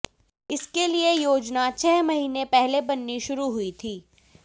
इसके लिए योजना छह महीने पहले बननी शुरू हुई थी